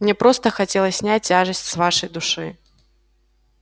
мне просто хотелось снять тяжесть с вашей души